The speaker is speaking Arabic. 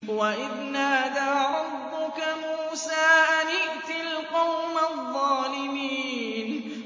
وَإِذْ نَادَىٰ رَبُّكَ مُوسَىٰ أَنِ ائْتِ الْقَوْمَ الظَّالِمِينَ